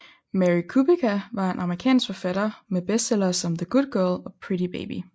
Mary Kubica er en amerikansk forfatter med bestsellere som The Good Girl og Pretty Baby